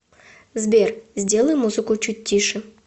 сбер сделай музыку чуть тише